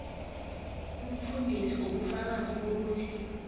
umfundisi ubufakazi bokuthi